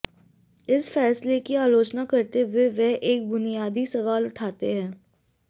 इस फैसले की आलोचना करते हुए वे एक बुनियादी सवाल उठाते हैं